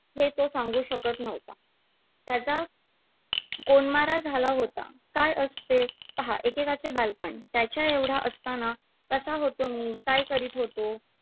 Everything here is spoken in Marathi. हे तो सांगू शकत नव्हता. त्याचा कोंडमारा झाला होता काय असते पहा एकेकाचे बालपण त्याच्या एवढा असताना कसा होतो मी काय करीत होतो